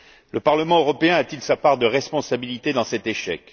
Le Parlement européen a t il sa part de responsabilité dans cet échec?